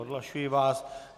Odhlašuji vás.